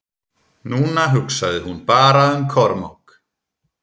Núna hugsaði hún bara um Kormák.